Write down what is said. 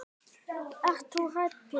Þú ert hræddur Pétur.